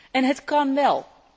En het kán wel.